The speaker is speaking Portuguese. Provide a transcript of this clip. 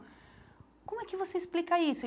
Como é que você explica isso?